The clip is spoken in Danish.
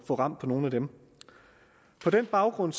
få ram på nogle af dem på den baggrund